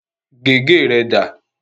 Gègé rẹ dà?